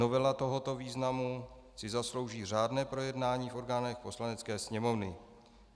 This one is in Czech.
Novela tohoto významu si zaslouží řádné projednání v orgánech Poslanecké sněmovny.